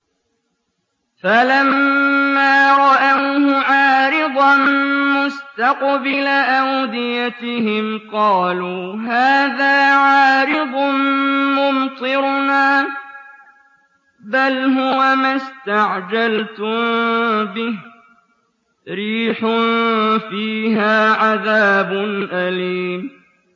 فَلَمَّا رَأَوْهُ عَارِضًا مُّسْتَقْبِلَ أَوْدِيَتِهِمْ قَالُوا هَٰذَا عَارِضٌ مُّمْطِرُنَا ۚ بَلْ هُوَ مَا اسْتَعْجَلْتُم بِهِ ۖ رِيحٌ فِيهَا عَذَابٌ أَلِيمٌ